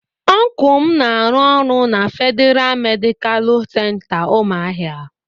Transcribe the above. Ọncụl m na-arụ ọrụ na Fedịra Medicalụ Center Umuahia.